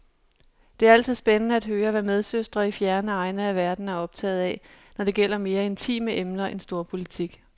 Det er altid spændende at høre, hvad medsøstre i fjerne egne af verden er optaget af, når det gælder mere intime emner end storpolitik.